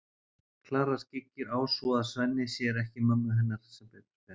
Klara skyggir á svo að Svenni sér ekki mömmu hennar sem betur fer.